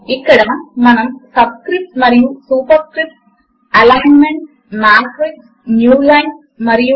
ఇప్పుడు మనము ఒక ఫార్ములా ను తేలిక మార్గములో వ్రాయడము కొరకు ఒక ఎలిమెంట్స్ విండో ను ఎలా వాడాలో నేర్చుకున్నాము